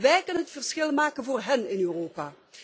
Wij kunnen het verschil maken voor hen in Europa.